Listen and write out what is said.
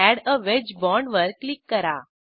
add a wedge bond वर click करा